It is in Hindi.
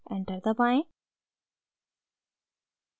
enter दबाएं